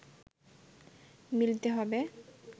মিলতে হবে